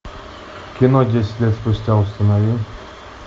кино десять лет спустя установи